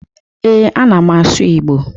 Ee, ana m asụ Igbo.